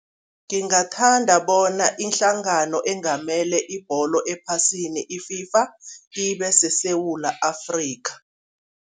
Ngingathanda bona ihlangano engamele ibholo ephasini i-FIFA ibe seSewula Afrika.